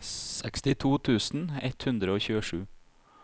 sekstito tusen ett hundre og tjuesju